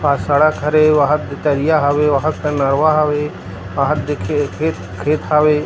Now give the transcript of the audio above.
पा सड़क हरे वहादे तरिया हवे वाहा कन नरवा हवे वाहा दे खे खेत हावे। .